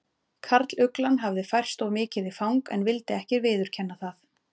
Karluglan hafði færst of mikið í fang en vildi ekki viðurkenna það.